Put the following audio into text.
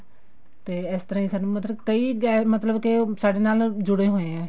ਤੇ ਇਸ ਤਰ੍ਹਾਂ ਸਾਨੂੰ ਮਤਲਬ ਕਈ ਮਤਲਬ ਕੇ ਸਾਡੇ ਨਾਲ ਜੁੜੇ ਹੋਏ ਐ